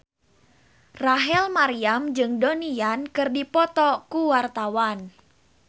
Rachel Maryam jeung Donnie Yan keur dipoto ku wartawan